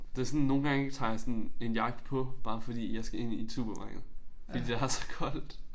Det sådan nogle gange ik tager jeg sådan en jakke på bare fordi jeg skal ind i et supermarked fordi der er så koldt